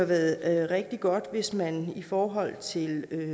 været rigtig godt hvis man i forhold til